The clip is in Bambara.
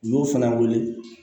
N y'o fana wele